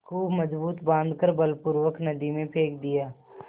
खूब मजबूत बॉँध कर बलपूर्वक नदी में फेंक दिया